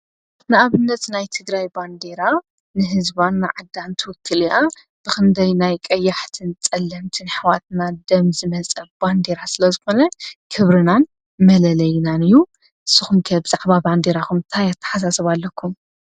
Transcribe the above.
ንኣብነት ናይ ትግራይ ባንዴራ ንህዝባ ንዓዳን ትውክል እያ። ብክንደይ ናይ ቀያሕትን ፀለምትን ኣሕዋትና ደም ዝመፀ ባንዴራ ስለ ዝኮነ ክብርናን መለለይናን እዩ። ንስኹም ከ ብዛዕባ ባንዴራኩም እንታይ ኣተሓሳስባ ኣለኩም?